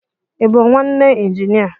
I bụ nwanne injinia?